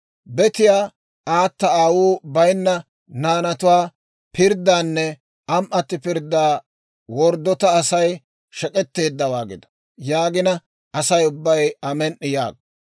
« ‹Betiyaa, aata aawuu bayinna naanatuwaa pirddaanne am"atti pirddaa gellayeedda Asay shek'etteeddawaa gido› yaagina, Asay ubbay, ‹Amen"i› yaago.